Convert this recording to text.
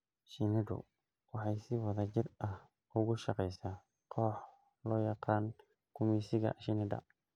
Shinnidu waxay si wada jir ah ugu shaqeysaa koox loo yaqaan gumeysiga shinnida.